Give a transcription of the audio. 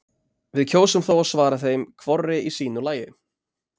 Við kjósum þó að svara þeim hvorri í sínu lagi.